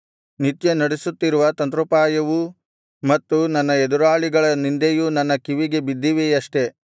ನಿತ್ಯ ನಡಿಸುತ್ತಿರುವ ತಂತ್ರೋಪಾಯವೂ ಮತ್ತು ನನ್ನ ಎದುರಾಳಿಗಳ ನಿಂದೆಯೂ ನಿನ್ನ ಕಿವಿಗೆ ಬಿದ್ದಿವೆಯಷ್ಟೆ